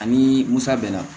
Ani musa bɛnna